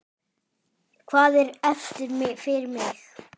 Hvað er eftir fyrir mig?